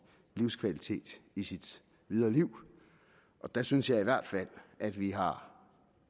livskvalitet i sit videre liv og der synes jeg i hvert fald at vi har